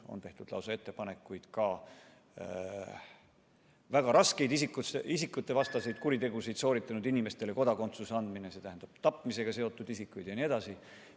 On tehtud lausa ettepanekuid ka väga raskeid isikuvastaseid kuritegusid sooritanud inimestele kodakondsus anda, sh on olnud tapmisega seotud isikuid jne.